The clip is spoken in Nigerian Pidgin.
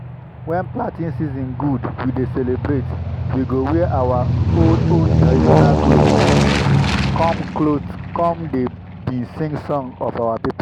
when planting season good we dey celebrate. we go wear our old-old traditional cloth come cloth come dey bin sing songs of our people.